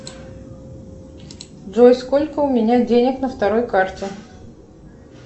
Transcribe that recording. джой сколько у меня денег на второй карте